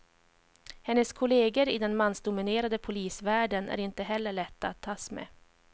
Hennes kolleger i den mansdominerade polisvärlden är inte heller lätta att tas med.